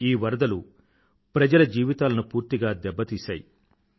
ఈ వరదలు ప్రజల జీవితాలను పూర్తిగా దెబ్బ తీశాయి